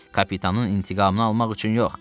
Kapitanın intiqamını almaq üçün yox.